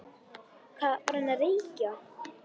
Hvað var hann að reykja?